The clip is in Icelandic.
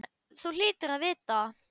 Þú hlýtur að vita það.